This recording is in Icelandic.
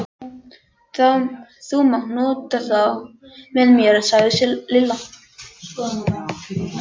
Þú mátt nota þá með mér sagði Lilla.